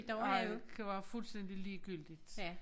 Ej kan være fuldstændig ligegyldigt